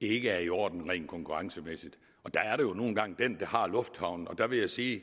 ikke er i orden rent konkurrencemæssigt og der er det jo nu engang den der har lufthavnen der vil jeg sige